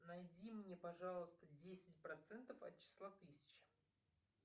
найди мне пожалуйста десять процентов от числа тысяча